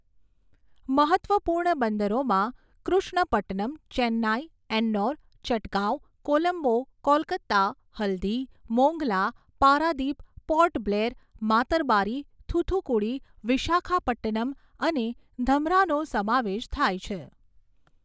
મહત્ત્વપૂર્ણ બંદરોમાં કૃષ્ણપટ્ટનમ, ચેન્નાઈ, એન્નોર, ચટગાંવ, કોલંબો, કોલકાતા હલ્દી, મોંગલા, પારાદીપ, પોર્ટ બ્લેર, માતરબારી, થૂથુકુડી, વિશાખાપટ્ટનમ અને ધમરાનો સમાવેશ થાય છે.